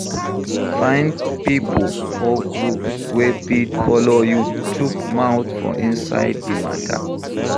Find pipo or groups wey fit follow you chook mouth for inside di matter